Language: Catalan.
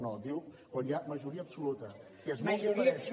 no diu quan hi ha majoria absoluta que és molt diferent